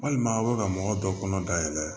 Walima aw bɛ ka mɔgɔ dɔ kɔnɔ dayɛlɛ